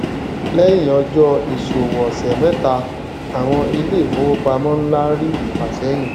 lẹyìn ọjọ ìsòwò ọsẹ mẹta àwọn ilé ìfowópamọ ńlá rí ìfàsẹyìn